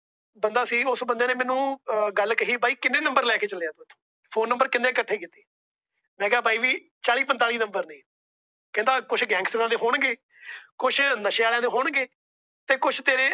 ਬੰਦਾ ਸੀ। ਉਸ ਬੰਦੇ ਨੇ ਮੈਨੂੰ ਗੱਲ ਕਹੀ ਬਾਈ ਕਿੰਨੇ Number ਲੈਕੇ ਚੱਲਿਆ। Phone Number ਕਿੰਨੇ ਇੱਕਠੇ ਕੀਤੇ। ਮੈ ਕਿਹਾ ਬਾਈ ਜੀ ਚਾਲੀ ਪੰਤਾਲੀ number ਨੇ। ਕਹਿੰਦਾ ਕੁਛ Gangsters ਦੇ ਹੋਣਗੇ, ਕੁਛ ਨਸ਼ੇ ਵਾਲਿਆਂ ਦੇ ਹੋਣਗੇ। ਤੇ ਕੁਛ ਤੇਰੇ